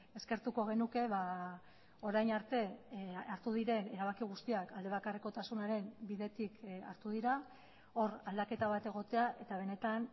eskertuko genuke orain arte hartu diren erabaki guztiak alde bakarrekotasunaren bidetik hartu dira hor aldaketa bat egotea eta benetan